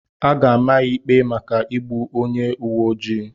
A ga-ama ya ikpe maka igbu onye uwe ojii